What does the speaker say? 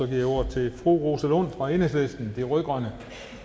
jeg ordet til fru rosa lund fra enhedslisten de rød grønne